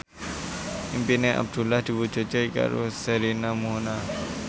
impine Abdullah diwujudke karo Sherina Munaf